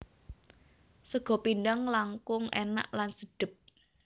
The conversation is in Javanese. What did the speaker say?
Sega pindhang langkung enak lan sedep